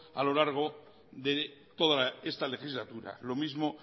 a lo largo de toda esta legislatura lo mismo